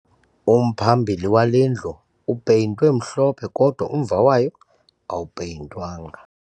Umphambili wale ndlu upeyintwe mhlophe kodwa umva wayo awupeyintwanga